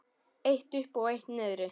Eitt uppi og eitt niðri.